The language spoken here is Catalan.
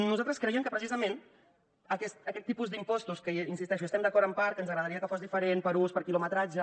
nosaltres creiem que precisament aquests tipus d’impostos que hi insisteixo hi estem d’acord en part que ens agradaria que fossin diferents per ús per quilometratge